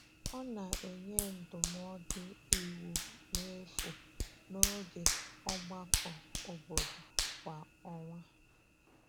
Ọ na-enye ndụmọdụ iwu n’efu n’oge ọgbakọ obodo kwa ọnwa.